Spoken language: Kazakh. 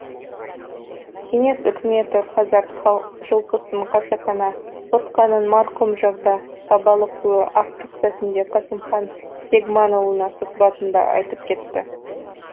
кеңес үкіметі қазақ жылқысын қасақана құртқанын марқұм жағда бабалықұлы ақтық сәтінде қасымхан бегманұлына сұхбатында айтып кетті